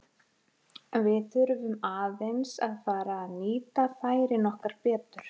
Við þurfum aðeins að fara að nýta færin okkar betur.